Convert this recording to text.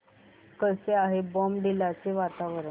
कसे आहे बॉमडिला चे वातावरण